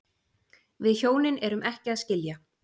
Við hjónin erum ekki að skilja